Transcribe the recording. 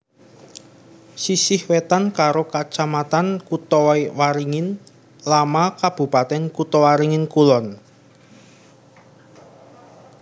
Sisih wétan karo Kacamatan Kotawaringin Lama Kabupatèn Kotawaringin Kulon